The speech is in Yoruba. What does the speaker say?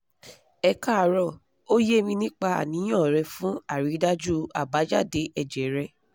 ẹ káàárọ̀ o ye mi nípa aniyan re fun àrídájú abájáde èjè rẹ